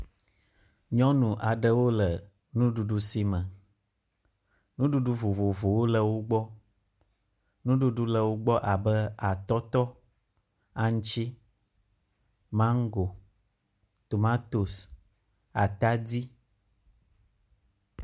Nyɔnu aɖewo le nuɖuɖu si me. Nuɖuɖu vovovowo le wo gbɔ. Nuɖuɖu le wogbɔ abe atɔtɔ, aŋuti, maŋgo, tomatosi, atadi.